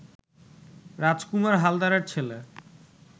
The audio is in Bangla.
রাজকুমার হালদারের ছেলে